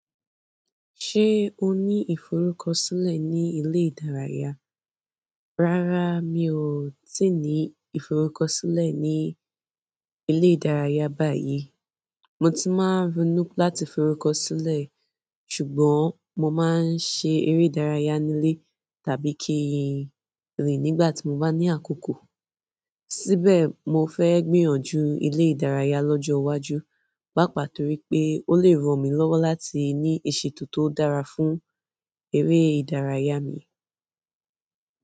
Ṣé o ní ìforúkọ sílẹ̀ ní ilé ìdárayá? Rárá, mi ò tíì ní ìforúkọ sílẹ̀ ní ilé ìdárayá báyìí. Mo tii máa ronú láti fi orúkọ sílẹ̀ ṣùgbọ́n mo maa n ṣe eré ìdárayá nile tàbí kii rin nígbà tii mo bá ní àkókò. Síbẹ̀, mo fẹ́ gbìyànjú ilé ìdárayá lọ́jọ́ iwájú, pàápàá torí pé ó lè ràn mí lọ́wọ́ láti ní ìṣètò tó dára fún eré ìdárayá mi.